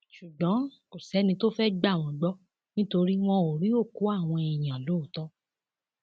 ṣùgbọn kò sẹni tó fẹẹ gbà wọn gbọ nítorí wọn ò rí òkú àwọn èèyàn lóòótọ